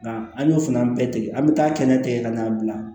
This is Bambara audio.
Nka an y'o fana bɛɛ tigɛ an be taa kɛnɛ ka n'an bila